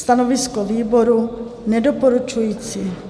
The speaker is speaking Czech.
Stanovisko výboru: Nedoporučující.